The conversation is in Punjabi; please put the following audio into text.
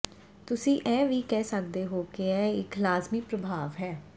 ਤੁਸੀਂ ਇਹ ਵੀ ਕਹਿ ਸਕਦੇ ਹੋ ਕਿ ਇਹ ਇੱਕ ਲਾਜ਼ਮੀ ਪ੍ਰਭਾਵ ਹੈ